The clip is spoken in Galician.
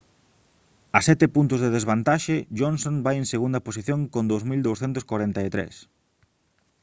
a sete puntos de desvantaxe johnson vai en segunda posición con 2243